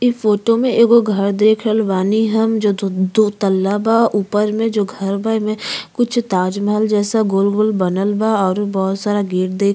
ई फोटो में एगो घर देख रहाल बानी हम जो दू दूतल्ला बा। ऊपर में जो घर बा। एमे कुछ ताजमहल जैसा गोल गोल बनल बा और बहुत सारा गेट दे --